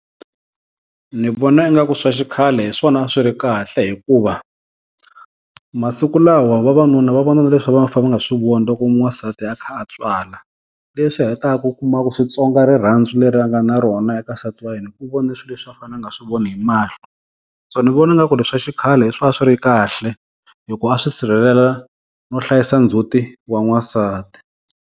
Ni vona ingaku swa xikhale hi swona swi ri kahle hikuva masiku lawa vavanuna va vona na leswi a va fane nga swi voni loko n'wansati a kha a tswala. Leswi hetaka u kuma ku swi tsonga rirhandzu leri a nga na rona eka nsati wa yena hi ku u vone swi leswi a fane a nga swi voni hi mahlo, so ni vona nga ku leswa xikhale hi swo a swi ri kahle hi ku a swi sirhelela no hlayisa ndzhuti wa n'wansati.